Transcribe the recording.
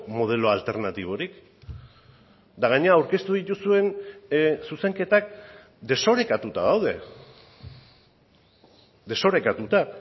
modelo alternatiborik eta gainera aurkeztu dituzuen zuzenketak desorekatuta daude desorekatuta